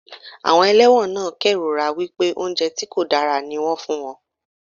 Àwọn ẹlẹ́wọ̀n náà kérora wípé oúnjẹ tí kò dára ní wón ń fún wọn.